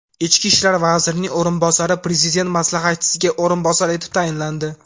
Ichki ishlar vazirining o‘rinbosari Prezident maslahatchisiga o‘rinbosar etib tayinlandi.